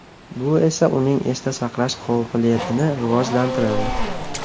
Bu esa uning esda saqlash qobiliyatini rivojlantiradi.